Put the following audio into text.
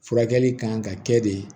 Furakɛli kan ka kɛ de